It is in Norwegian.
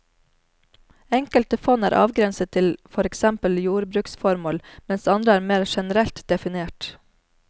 Enkelte fond er avgrenset til for eksempel jordbruksformål, mens andre er mer generelt definert.